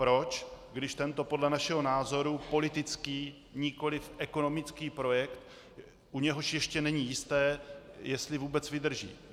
Proč, když tento podle našeho názoru politický nikoliv ekonomický projekt, u něhož ještě není jisté, jestli vůbec vydrží?